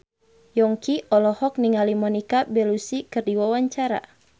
Yongki olohok ningali Monica Belluci keur diwawancara